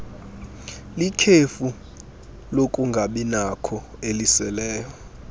likhefu lokungabinakho eliseleyo